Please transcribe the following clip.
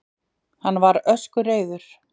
Hann var öskureiður.